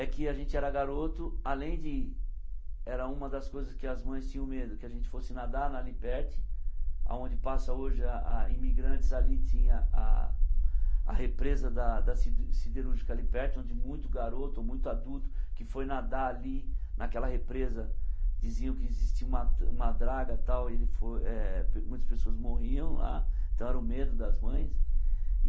é que a gente era garoto, além de... era uma das coisas que as mães tinham medo, que a gente fosse nadar, onde passa hoje a Imigrantes, ali tinha a... a represa da da Siderúrgica ali perto, onde muito garoto, muito adulto, que foi nadar ali, naquela represa, diziam que existia uma uma draga tal, e ele foi eh... muitas pessoas morriam lá, então era o medo das mães.